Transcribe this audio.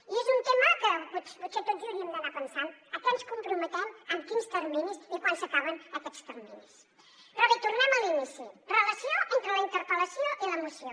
i és un tema que potser tots hi hauríem d’anar pensant a què ens comprometem amb quins terminis i quan s’acaben aquests terminis però bé tornem a l’inici relació entre la interpel·lació i la moció